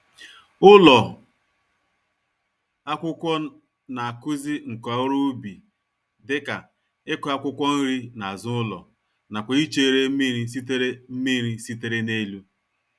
Ụlọ akwụkwọ n'akụzi nka-oru-ubi dịka, ịkụ̀ akwụkwọ-nri nazụ ụlọ, nakwa ichere mmírí sitere mmírí sitere n'elu.